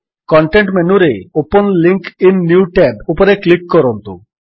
context ମେନୁରେ open link in new tab ଉପରେ click କରନ୍ତୁ